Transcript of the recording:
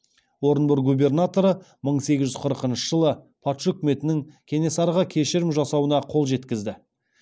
орынбор губернаторы мың сегіз жүз қырықыншы жылы патша үкіметінің кенесарыға кешірім жасауына қол жеткізді